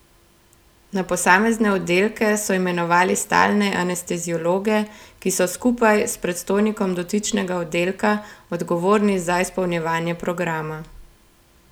Na posamezne oddelke so imenovali stalne anesteziologe, ki so skupaj s predstojnikom dotičnega oddelka odgovorni za izpolnjevanje programa.